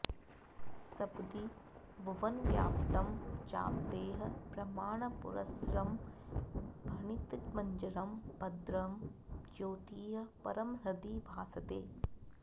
सपदि भुवनव्याप्तं चाप्तैः प्रमाणपुरस्सरं भणितमजरं भद्रं ज्योतिः परं हृदि भासते